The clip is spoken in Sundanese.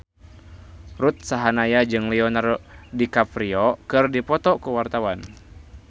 Ruth Sahanaya jeung Leonardo DiCaprio keur dipoto ku wartawan